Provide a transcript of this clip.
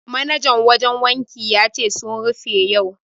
Manajan wajen wankin ya ce sun rufe yau.